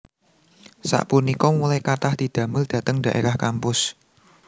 Sapunika mulai kathah didamel dhateng daerah kampus